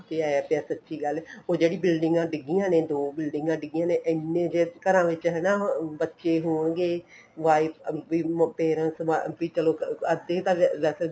ਅੰਤ ਹੀ ਆਇਆ ਪਿਆ ਸੱਚੀ ਗੱਲ ਉਹ ਜਿਹੜੀ ਬਿਲਡਿੰਗਾ ਡਿੱਗੀਆਂ ਨੇ ਦੋ ਬਿਲਡਿੰਗਾ ਡਿੱਗੀਆਂ ਨੇ ਇੰਨੇ ਜੇ ਘਰਾਂ ਵਿੱਚ ਹਨਾ ਬੱਚੇ ਹੋਣਗੇ wife ਵੀ ਮਤਲਬ parents ਵੀ ਚਲੋ ਅੱਧੇ ਤਾਂ ਇਹ ਵੈਸੇ